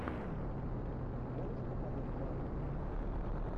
можешь показать мангу